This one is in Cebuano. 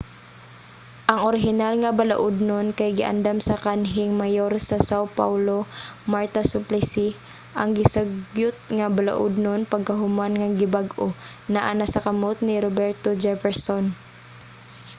ang orihinal nga balaudnon kay giandam sa kanhing mayor sa são paulo marta suplicy. ang gisugyot nga balaudnon pagkahuman nga gibag-o naa na sa kamot ni roberto jefferson